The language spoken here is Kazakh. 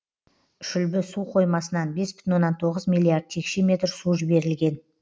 шүлбі су қоймасынан бес бүтін оннан тоғыз миллиард текше метр су жіберілген